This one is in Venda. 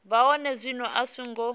vha hone zwino a songo